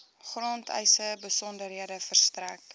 grondeise besonderhede verstrek